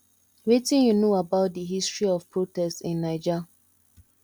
wetin you know about di history of protest in naija